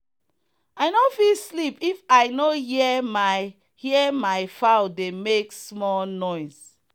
i no fit sleep if i no hear my hear my fowl dey make small noise.